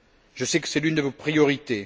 Je sais que c'est l'une de vos priorités.